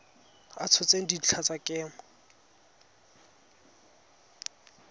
a tshotseng dintlha tsa kemo